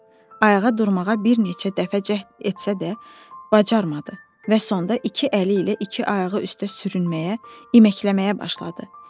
Ayağa durmağa bir neçə dəfə cəhd etsə də, bacarmadı və sonda iki əli ilə iki ayağı üstə sürünməyə, iməkləməyə başladı.